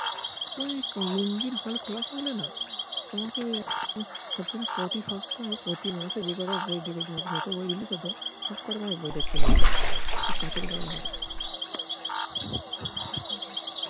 ওই লুঙ্গির হল খোলা থাকলে না তোমাকে প্রতি সপ্তাহে - প্রতি মাসে যেকটা বই রিলিস হতো সব কটা বই দেখতে নিয়ে যেতাম কাছের গোড়ায় হলে